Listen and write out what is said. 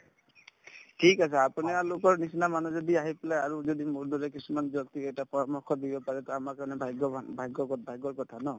ঠিক আছে আপোনীয়া লোকৰ নিচিনা মানুহৰ যদি আহি পেলাই আৰু যদি মোৰ দৰে কিছুমান ব্যক্তিক এটা পৰামৰ্শ দিব পাৰে to আমাৰ কাৰণে ভাগ্যৱানভাগ্যৱত ভাগ্যৰ কথা ন